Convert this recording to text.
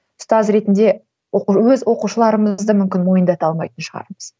ұстаз ретінде өз оқушыларымызды мүмкін мойындата алмайтын шығармыз